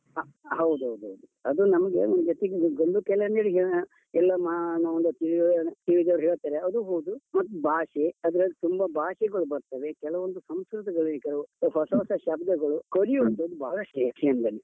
ಹಾ, ಹೌದು ಹೌದು ಹೌದು. ಅದೇ ನಮ್ಗೆ ಎಲ್ಲ ಮಾ ಎಲ್ಲ ತಿಳಿದವರು ಹೇಳ್ತಾರೆ ಅದು ಹೌದು, ಮತ್ ಭಾಷೆ ಅದ್ರಲ್ಲಿ ತುಂಬಾ ಭಾಷೆಗಳು ಬರ್ತವೆ, ಕೆಲವಂದು ಸಂಸ್ಕೃತಿಗಳು ಈಗ, ಹೊಸ ಹೊಸ ಶಬ್ದಗಳು ಕಲಿಯುವಂತದು ಬಹಳಷ್ಟು ಇದೆ ಯಕ್ಷಗಾನದಲ್ಲಿ.